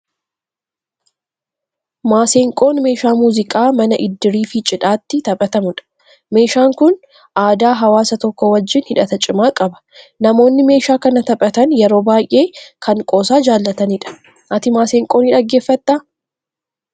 Maseenqoon meeshaa muuziqaa mana iddirii fi cidhaatti taphatamudha. Meeshaan kun aadaa hawwaasa tokkoo wajjin hidhata cimaa qaba. Namoonni meeshaa kana taphatan yeroo baay'ee, kan qoosaa jaalatnidha. Ati maseenqoo ni dhaggeeffattaa?